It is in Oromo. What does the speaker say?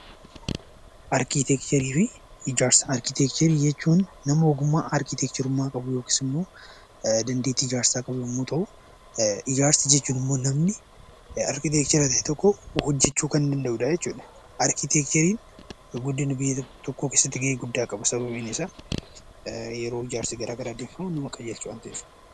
Arkiteekcharii jechuun nama ogummaa yookaan dandeettii ijaarsaa qabu yommuu ta'u, ijaarsa jechuun immoo namni arkiteekcharii ta'e tokko hojjachuu kan danda'udha jechuudha. Arkiteekchariin guddina biyya tokkoo keessatti gahee guddaa qabu sababiin isaa yeroo ijaarsi garaagaraa gaggeeffamu waan hojjataniifi.